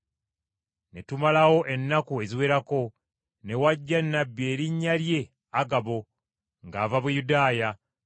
Ne tumalawo ennaku eziwerako, ne wajja nnabbi erinnya lye Agabo ng’ava Buyudaaya.